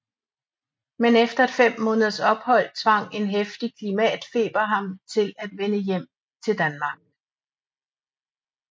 Men efter et 5 måneders ophold tvang en heftig klimatfeber ham til at vende hjem til Danmark